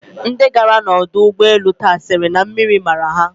Ndi gara n'ọdọ ụgbọelu taa sịrị na mmiri mara ha.